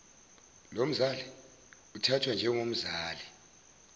lomzali uthathwa njengomzali